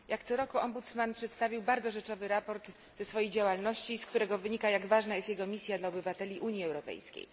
Jak co roku rzecznik przedstawił bardzo rzeczowe sprawozdanie ze swojej działalności, z którego wynika, jak ważna jest jego misja dla obywateli Unii Europejskiej.